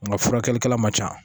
Nka furakɛlikɛla ma ca